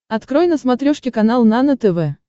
открой на смотрешке канал нано тв